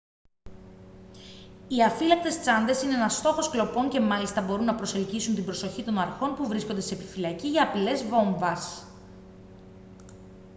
οι αφύλακτες τσάντες είναι ένας στόχος κλοπών και μάλιστα μπορούν να προσελκύσουν την προσοχή των αρχών που βρίσκονται σε επιφυλακή για απειλές βόμβας